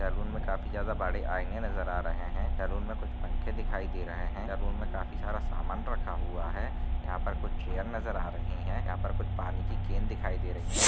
Salon में काफी ज्यादा बड़े आईने नज़र आ रहे है सैलून में कुछ पंखे दिखाई दे रहे है सैलून में काफी सारा सामान रखा हुआ है यहाँ पर कुछ चेयर नज़र आ रही है यहाँ पर कुछ पानी की केन दिखाई दे रही है।